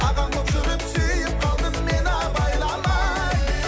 ағаң болып жүріп сүйіп қалдым мен абайламай